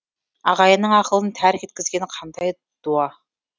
ағайынның ақылын тәрк еткізген қандай дуа